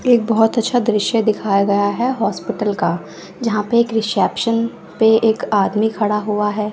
एक बहोत अच्छा दृश्य दिखाया गया है हॉस्पिटल का जहां पे एक रिसेप्शन पे एक आदमी खड़ा हुआ है।